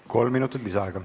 Kolm minutit lisaaega.